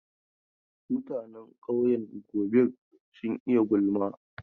Mutanen ƙauyen Gobir sun iya gulma.